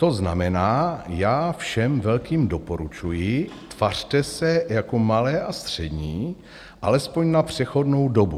To znamená, já všem velkým doporučuji, tvařte se jako malé a střední, alespoň na přechodnou dobu."